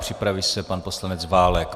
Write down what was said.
Připraví se pan poslanec Válek.